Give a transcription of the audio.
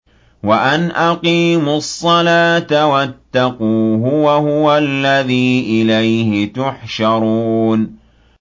وَأَنْ أَقِيمُوا الصَّلَاةَ وَاتَّقُوهُ ۚ وَهُوَ الَّذِي إِلَيْهِ تُحْشَرُونَ